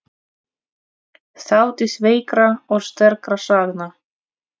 Þátíð veikra og sterkra sagna.